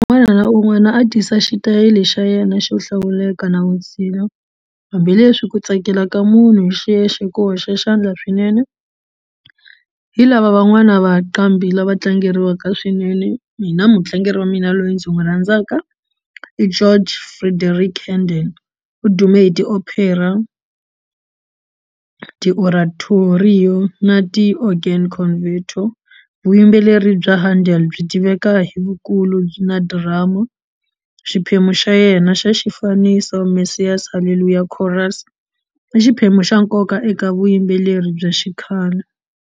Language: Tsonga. Un'wana na un'wana a tisa xitayili xa yena xo hlawuleka na vutshila hambileswi ku tsakela ka munhu hi xiyexe ku hoxa xandla swinene hi lava van'wana vanqambi lava tlangeriwaka swinene mina mutlangeri wa mina loyi ndzi n'wi rhandzaka Jorge Frideric Handel u dume hi ti-Opera na ti-organ converto vuyimbeleri bya Handel byi tiveka hi vukulu byi na drama xiphemu xa yena xa xifaniso Massiah's Hallelujah Chorus i xiphemu xa nkoka eka vuyimbeleri bya xikhale.